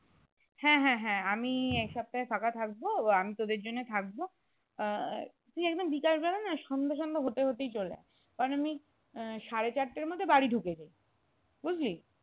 হ্যাঁ হ্যাঁ আমি এই সপ্তাহে ফাঁকা থাকবো, আমি তোদের জন্য থাকবো আহ তুই একদম বিকালবেলা না সন্ধে সন্ধে হতে হতেই চলে আয় কারণ আমি আহ সাড়ে চারটার মধ্যে বাড়ি ঢুকে যায় বুঝলি?